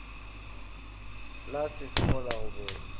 la lesego le go bobola